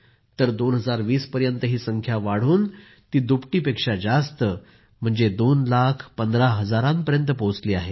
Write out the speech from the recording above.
तर 2020 पर्यंत ही संख्या वाढून ती दुपटीपेक्षा जास्त म्हणजे आता 2 लाख 15 हजारापर्यंत पोहोचली आहे